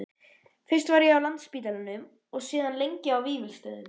Fyrst var ég á Landspítalanum og síðan lengi á Vífilsstöðum.